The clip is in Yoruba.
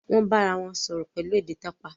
won bá arawọn sọrọ pẹlu èdè tapa.